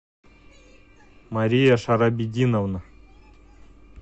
мария шарабетдиновна